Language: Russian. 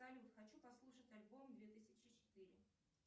салют хочу послушать альбом две тысячи четыре